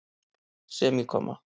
semíkomma